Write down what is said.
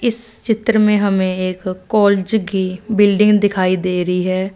इस चित्र में हमें एक कॉलेज की बिल्डिंग दिखाई दे रही है।